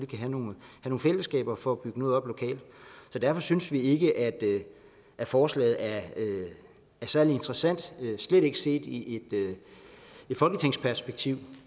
kan have nogle fællesskaber for at bygge noget op lokalt så derfor synes vi ikke at forslaget er særlig interessant og slet ikke set i et folketingsperspektiv